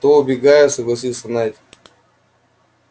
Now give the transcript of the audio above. то убегаю согласился найд